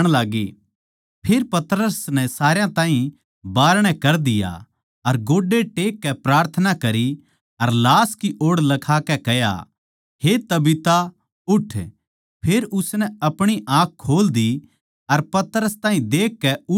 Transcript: फेर पतरस नै सारया ताहीं बाहरणै कर दिया अर गोड्डे टेक कै प्रार्थना करी अर लाश की ओड़ लखाकै कह्या हे तबीता उठ फेर उसनै अपणी आँख खोल दी अर पतरस ताहीं देखकै उठ बैट्ठी